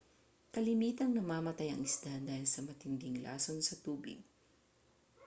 kalimitang namamatay ang isda dahil sa matinding lason sa tubig